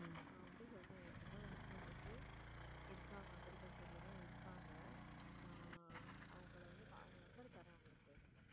நான் வந்து சொல்றேன் என் friend ஓட husband வந்து இருக்காங்க agriculture ல தான் இருக்காங்க நான் அவங்களை வந்து அவங்க number தர்றேன் உங்களுக்கு